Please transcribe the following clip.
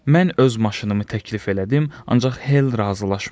Mən öz maşınımı təklif elədim, ancaq Hel razılaşmadı.